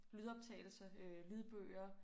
Lydoptagelse lydbøger